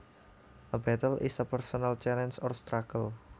A battle is a personal challenge or struggle